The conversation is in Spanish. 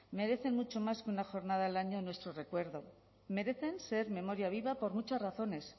merecen mucho más con la jornada al año en nuestro recuerdo merecen ser memoria viva por muchas razones